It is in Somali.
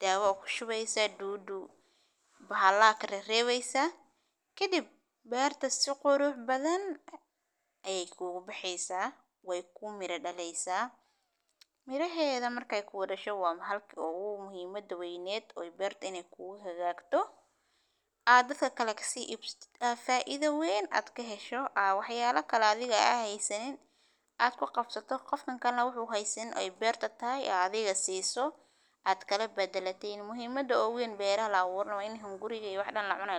dawo aa kushubesa dudu bahala aad karewesa ,kadib berta si qurux badan ayey kugu bahesa ,wey ku mira dhalesa ,miraheda markey ku dhasho ,halka ugu muhimada weyned oo berto iney ku hagagto aa dadka kale kasi iibsatid aa faido weyn ah aad kahesho aa wax yala kale aad heysanin aad kuqabsato qof kalena wuxu heysanin ay berto tahay adiga siso aad kalabadaletin ,muhimada ogu weyn oo beraha waa in hunguriga iyo wax dhan lacunayo .